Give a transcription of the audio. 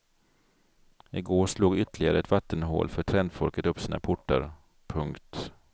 I går slog ytterligare ett vattenhål för trendfolket upp sina portar. punkt